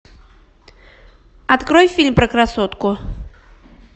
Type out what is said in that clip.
открой фильм про красотку